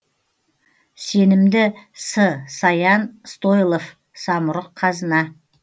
сенімді с саян стойлов самұрық қазына